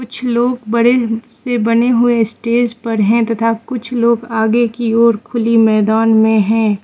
कुछ लोग बड़े से बने हुए स्टेज पर हैं तथा कुछ लोग आगे की ओर खुली मैदान में हैं।